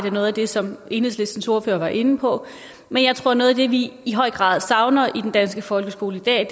er noget af det som enhedslistens ordfører var inde på men jeg tror at noget af det vi i høj grad savner i den danske folkeskole i dag